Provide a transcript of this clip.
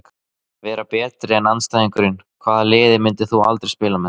Vera betri en andstæðingurinn Hvaða liði myndir þú aldrei spila með?